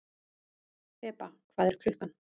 Þeba, hvað er klukkan?